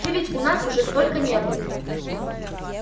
ты ведь у нас уже сколько не был